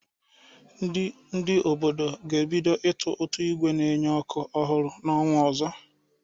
Ndị obodo ga-ebido ịna ụtụ ígwè na-enye ọkụ ọhụrụ n’ọnwa ọzọ.